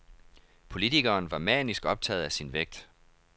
Politikeren var manisk optaget af sin vægt.